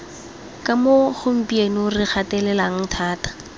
kamo gompieno re gatelelang thata